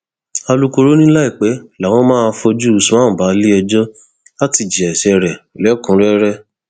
alūkkóró ni láìpẹ làwọn máa fojú usman balẹẹjọ láti jìyà ẹsẹ rẹ lẹkùnúnrẹrẹ